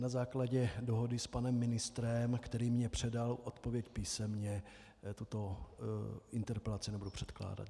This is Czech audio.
Na základě dohody s panem ministrem, který mi předal odpověď písemně, tuto interpelaci nebudu předkládat.